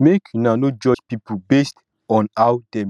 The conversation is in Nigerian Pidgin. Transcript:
make una no judge pipo based on how dem dey express their emotions